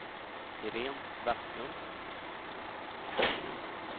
Irene Vestlund